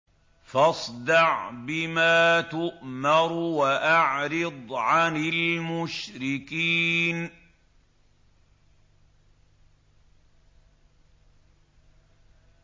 فَاصْدَعْ بِمَا تُؤْمَرُ وَأَعْرِضْ عَنِ الْمُشْرِكِينَ